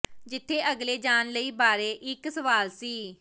ਜਿੱਥੇ ਅਗਲੇ ਜਾਣ ਲਈ ਦੇ ਬਾਰੇ ਇੱਕ ਸਵਾਲ ਸੀ